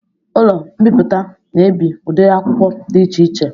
Ụlọ mbiputa na ebi udiri akwụkwọ dị iche iche